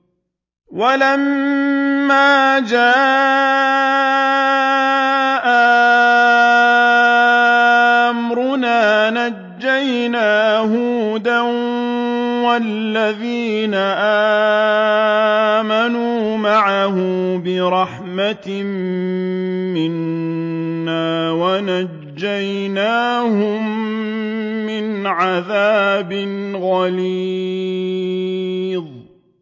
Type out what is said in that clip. وَلَمَّا جَاءَ أَمْرُنَا نَجَّيْنَا هُودًا وَالَّذِينَ آمَنُوا مَعَهُ بِرَحْمَةٍ مِّنَّا وَنَجَّيْنَاهُم مِّنْ عَذَابٍ غَلِيظٍ